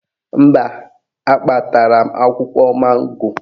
Mba, akpatara m akwụkwọ mango